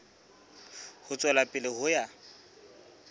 ho tswela pele ho ya